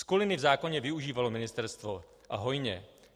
Skuliny v zákoně využívalo ministerstvo, a hojně.